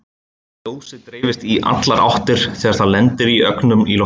Ljósið dreifist í allar áttir þegar það lendir á ögnum í loftinu.